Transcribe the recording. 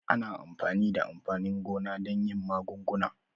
Ana amfani da amfanin gona don yin magunguna.